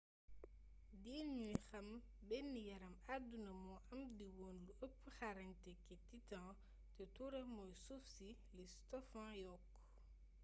diir ñuy xam ben yaram adduna mo am di wone lu ëp xarañte kë titan; te tuuram moy suuf si,’’ li stofan yokku